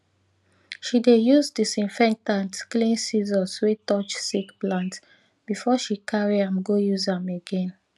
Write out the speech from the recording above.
she dey use disinfectant clean scissors wey touch sick plant before she carry am go use am again